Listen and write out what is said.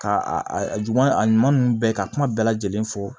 Ka a a a ɲuman a ɲuman ninnu bɛɛ ka kuma bɛɛ lajɛlen fɔ